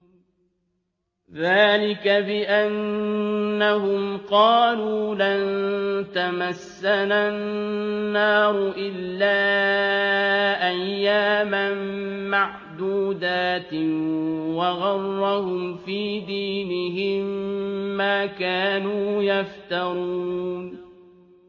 ذَٰلِكَ بِأَنَّهُمْ قَالُوا لَن تَمَسَّنَا النَّارُ إِلَّا أَيَّامًا مَّعْدُودَاتٍ ۖ وَغَرَّهُمْ فِي دِينِهِم مَّا كَانُوا يَفْتَرُونَ